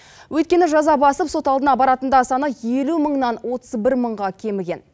өйткені жаза басып сот алдына баратындар саны елу мыңнан отыз бір мыңға кеміген